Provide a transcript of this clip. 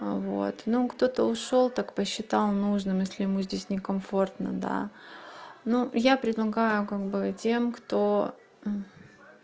вот ну кто-то ушёл так посчитала нужным если мы здесь не комфортно да ну я предлагаю как быть тем кто